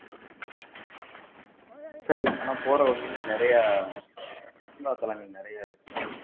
சரி நம்ம போற வழில நிறைய சுற்றுலாத்தளங்கள் நிறைய இருக்கு